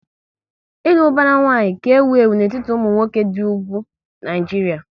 Ịlụ ubara nwanyi ka ewu ewu n'etiti ụmụ nwoke dị ugwu Naijiria